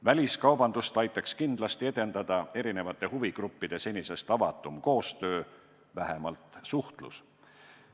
Väliskaubandust aitaks kindlasti edendada erinevate huvigruppide senisest avatum koostöö, vähemalt suhtlus.